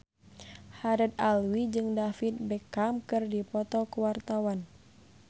Haddad Alwi jeung David Beckham keur dipoto ku wartawan